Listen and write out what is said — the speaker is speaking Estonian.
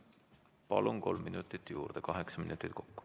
Palun, kolm minutit juurde, kaheksa minutit kokku.